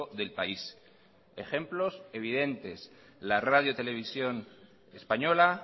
del país ejemplos evidentes la radio televisión española